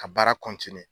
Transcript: Ka baara